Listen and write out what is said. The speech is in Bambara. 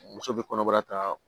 Muso bɛ kɔnɔbara ta